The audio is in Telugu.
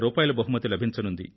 50000 బహుమతి లభించనుంది